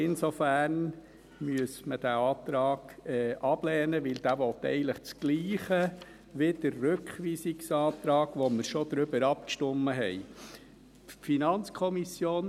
Insofern müsste man diesen Antrag ablehnen, weil er dasselbe will wie der Rückweisungsantrag, über den wir bereits abgestimmt haben.